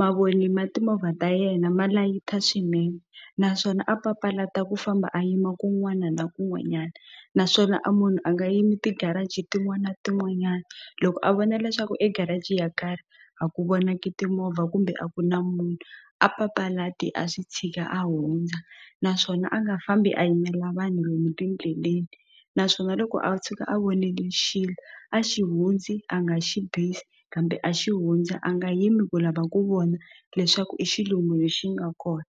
mavoni ma timovha ta yena ma layita swinene naswona a papalata ku famba a yima kun'wana na kun'wanyana naswona a munhu a nga yimi ti garage tin'wana na tin'wanyana loko a vona leswaku e garage yo karhi a ku vonaki timovha kumbe a ku na munhu a papalati a swi tshika a hundza naswona a nga hambi a yimela vanhu lomu tindleleni naswona loko a tshuka a vonile xilo a xi hundzi a nga xi bizi kambe a xi hundza a nga yimi ku lava ku vona leswaku i xilungwini lexi nga kona.